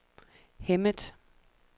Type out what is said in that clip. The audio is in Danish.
Hemmet